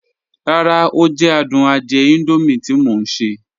Ràrá, o jẹ̀ àdùn àdìẹ̀ Indomie tí mọ̀ n ṣẹ.